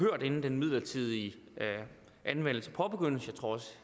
inden den midlertidige anvendelse påbegyndes og